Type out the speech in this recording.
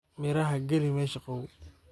Miraxa galix mesha gawow.